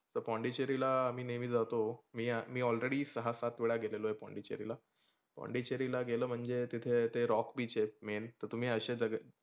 ता पोंडेचेरीला मी नेहमी जातो. मी मी already सहा सात वेळा गेलेलो आहे पोंडडेचेरीला. पोंडेचेरीला गेलं म्हणजे तिथे ते rock beach आहे main तर तुम्ही अशे